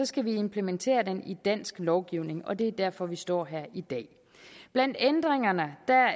skal vi implementere den i dansk lovgivning og det er derfor vi står her i dag blandt ændringerne